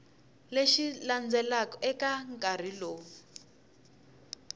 lexi landzelaka eka nkarhi lowu